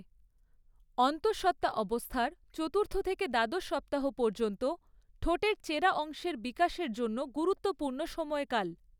অন্তঃসত্ত্বা অবস্থার চতুর্থ থেকে দ্বাদশ সপ্তাহ পর্যন্ত ঠোঁটের চেরা অংশের বিকাশের জন্য গুরুত্বপূর্ণ সময়কাল।